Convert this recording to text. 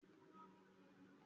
Ìjọba ológun le gan-an.